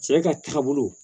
Sara ka taabolo